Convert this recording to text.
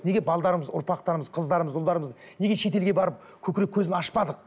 неге ұрпақтарымыз қыздарымыз ұлдарымыз неге шетелге барып көкірек көзін ашпадық